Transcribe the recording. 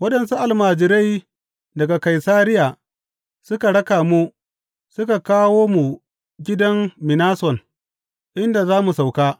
Waɗansu almajirai daga Kaisariya suka raka mu suka kawo mu gidan Minason, inda za mu sauka.